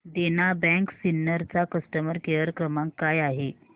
देना bank Sinnar चा customer care क्रमांक काय आहे